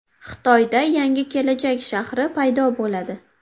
Xitoyda yangi kelajak shahri paydo bo‘ladi.